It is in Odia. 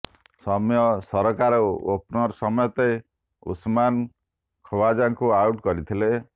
ସୌମ୍ୟ ସରକାର ଓପନର ସମେତ ଉସମାନ ଖଓ୍ବାଜାଙ୍କୁ ଆଉଟ୍ କରିଥିଲେ